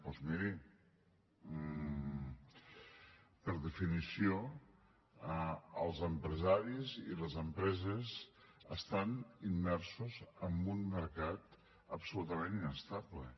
doncs miri per definició els empresaris i les empreses estan immersos en un mercat absolutament inestable